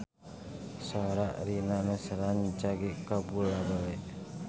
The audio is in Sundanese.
Sora Rina Nose rancage kabula-bale